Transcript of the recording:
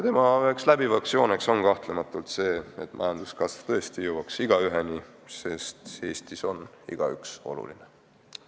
Üks eelarvet läbiv joon on kahtlematult eesmärk, et majanduskasv tõesti jõuaks igaüheni, sest Eestis on iga inimene oluline.